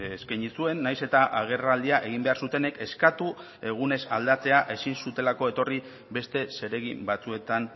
eskaini zuen nahiz eta agerraldia egin behar zutenek eskatu egunez aldatzea ezin zutelako etorri beste zeregin batzuetan